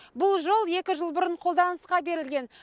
бұл жол екі жыл бұрын қолданысқа берілген